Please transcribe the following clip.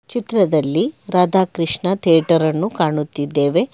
ಚಿತ್ರದಲ್ಲಿ ರಾಧಾಕೃಷ್ಣ ಥಿಯೇಟರ್ ಅನ್ನು ಕಾಣುತ್ತಿದ್ದೇವೆ.